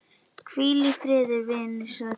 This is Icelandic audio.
Hvíl í friði vinur sæll.